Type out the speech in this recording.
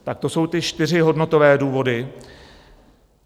Tak to jsou ty čtyři hodnotové důvody.